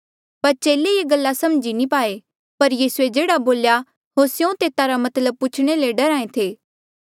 पर चेले ये गला समझ नी पाए पर यीसूए जेह्ड़ा बोल्या होर स्यों तेता रा मतलब पूछणे ले डरहा ऐें थे